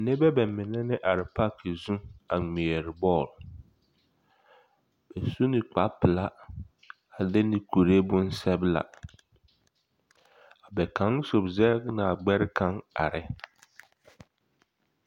nebɛ bamine ne are pake zũ a ŋmeɛrɛ bɔɔl bas u ne kpare pela ade ne kure bonsɛbla bɛ kaŋ sob zɛge ne a gbɛre kaŋ are.